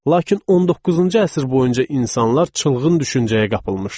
Lakin 19-cu əsr boyunca insanlar çılgın düşüncəyə qapılmışdılar.